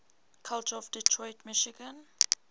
culture of detroit michigan